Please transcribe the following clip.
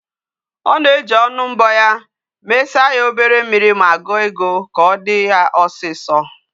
Ona eji onu mbo ya, mesa ya obere mmiri, ma guo ego, ka odi ya osiso